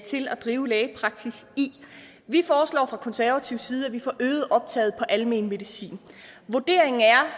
drive lægepraksis i vi foreslår fra konservativ side at vi får øget optaget på almen medicin vurderingen er